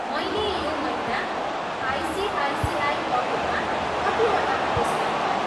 मैले यो महिना आइसिआइसिआई पकेटमा कतिवटा पुरस्कार पाएँ?